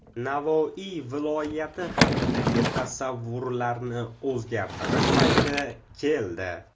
Navoiy viloyati haqidagi tasavvurlarni o‘zgartirish payti keldi.